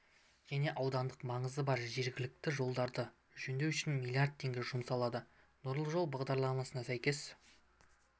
және аудандық маңызы бар жергілікті жолдарды жөндеу үшін млрд теңге жұмсалады нұрлы жол бағдарламасына сәйкес